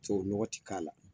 Tubabu nɔgɔn tɛ k'a la.